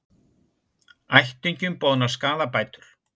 Ættingjum boðnar skaðabætur